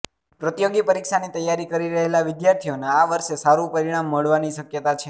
પ્રતિયોગી પરીક્ષાની તૈયારી કરી રહેલા વિદ્યાર્થીઓને આ વર્ષે સારું પરિણામ મળવાની શક્યતા છે